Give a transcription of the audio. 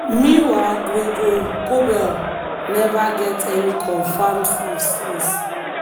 meanwhile gregor kobel hneva get any confam save since.